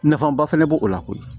Nafaba fɛnɛ b'o la koyi